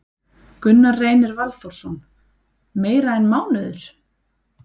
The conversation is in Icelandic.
Gunnar Reynir Valþórsson: Meira en mánuður?